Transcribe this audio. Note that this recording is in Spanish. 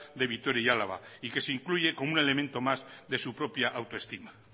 de vitoria y álava y que se incluye como un elemento más de su propia autoestima